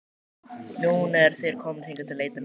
Núna eru þeir komnir hingað að leita mín.